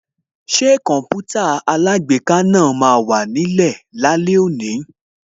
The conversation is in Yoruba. Ṣé Kọǹpútà alágbèéká náà máa wà nílẹ̀ lónìí